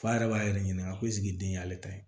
F'a yɛrɛ b'a yɛrɛ ɲininka ko den y'ale ta ye